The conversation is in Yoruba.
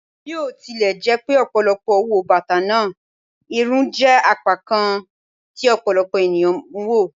Bi o tilẹ jẹ pe ọpọlọpọ wo bata naa, irun jẹ apakan kan ti ọpọlọpọ eniyan n wo